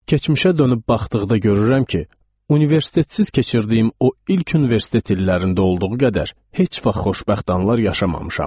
Keçmişə dönüb baxdıqda görürəm ki, universitetsiz keçirdiyim o ilk universitet illərində olduğu qədər heç vaxt xoşbəxt anlar yaşamamışam.